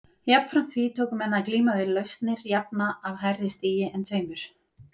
Jafnframt því tóku menn að glíma við lausnir jafna af hærri stigi en tveimur.